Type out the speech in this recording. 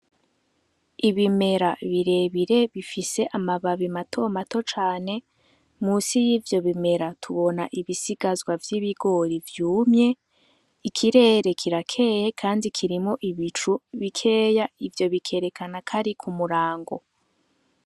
Ibimera birebire bifise amababi matomato cane, musi yivyo bimera tubona ibisigazwa vy'ibigori vyumye , ikirere kirakeye kandi kirimwo ibicu bikeya ivyo bikerekana ko ari ku murango.